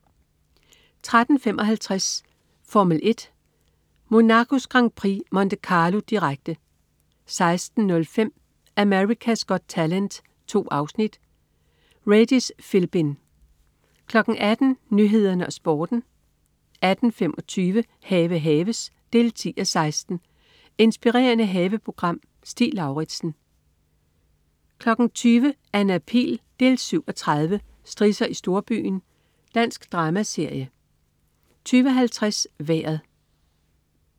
13.55 Formel 1: Monacos Grand Prix, Monte Carlo. Direkte 16.05 America's Got Talent. 2 afsnit. Regis Philbin 18.00 Nyhederne og Sporten 18.25 Have haves 10:16. Inspirerende haveprogram. Stig Lauritsen 20.00 Anna Pihl 7:30. Strisser i storbyen. Dansk dramaserie 20.50 Vejret